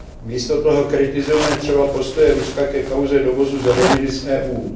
Místo toho kritizujeme třeba postoje Ruska ke kauze dovozu zeleniny z EU.